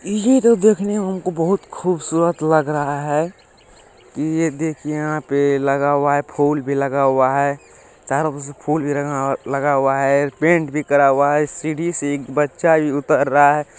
यह देखो देखने में हमको बहुत खूबसूरत लग रहा है यह देख यहां पे लगा हुआ है फूल भी लगा हुआ है चारों पर से फूल भी लगा लगा हुआ है पेंट भी करा हुआ है सीढ़ी से एक बच्चा भी उतर रहा है।